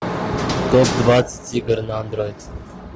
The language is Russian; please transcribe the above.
топ двадцать игр на андроид